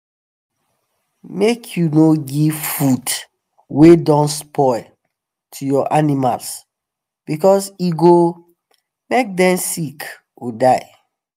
make u no give food wa don spoil to ur animals because e go make them sick or die